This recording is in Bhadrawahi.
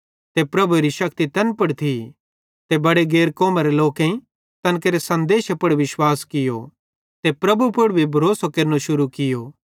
ते प्रभुएरी शक्ति तैन पुड़ थी ते बड़े गैर कौमरे लोकेईं तैन केरे सनदेशे पुड़ विश्वास कियो ते प्रभु यीशु पुड़ भरोसो केरनो शुरू कियो